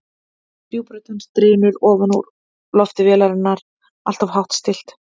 Djúp rödd hans drynur ofan úr lofti vélarinnar, alltof hátt stillt.